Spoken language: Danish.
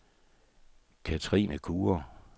Kathrine Kure